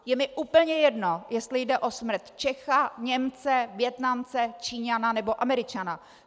Je mi úplně jedno, jestli jde o smrt Čecha, Němce, Vietnamce, Číňana nebo Američana.